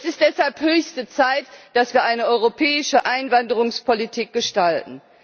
Es ist deshalb höchste Zeit, dass wir eine europäische Einwanderungspolitik gestalten.